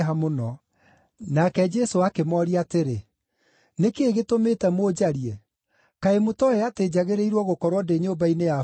Nake Jesũ akĩmooria atĩrĩ, “Nĩ kĩĩ gĩtũmĩte mũnjarie? Kaĩ mũtooĩ atĩ njagĩrĩirwo gũkorwo ndĩ nyũmba-inĩ ya Baba?”